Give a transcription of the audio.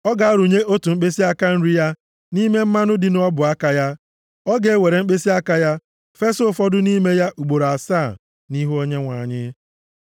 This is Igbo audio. ọ ga-arụnye otu mkpịsịaka nri ya nʼime mmanụ dị nʼọbụaka ya, ọ ga-ewere mkpịsịaka ya fesa ụfọdụ nʼime ya ugboro asaa nʼihu Onyenwe anyị.